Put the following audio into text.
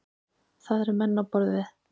Það eru menn á borð við